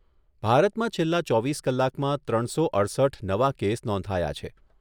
ભારતમાં છેલ્લા ચોવીસ કલાકમાં ત્રણસો અડસઠ નવા કેસ નોંધાયા છે.